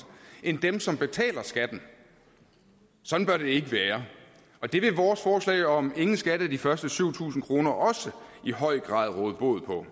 end dem som betaler skatten sådan bør det ikke være og det vil vores forslag om ingen skat af de første syv tusind kroner også i høj grad råde bod på